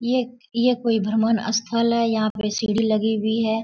ये ये कोई भ्रमण स्थल है यहाँ पे सीढ़ी लगी हुई है।